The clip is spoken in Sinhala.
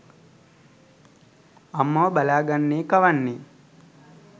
අම්මව බලා ගන්නේ කවන්නේ